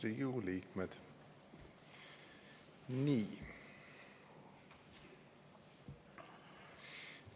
Head Riigikogu liikmed!